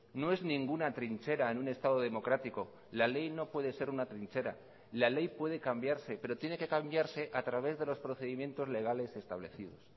no es ninguna trinchera en un estado democrático la ley no puede ser una trinchera la ley puede cambiarse pero tiene que cambiarse a través de los procedimientos legales establecidos